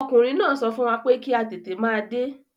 Ọkùnrin náà sọ fún wa pé kí a tètè máa dé.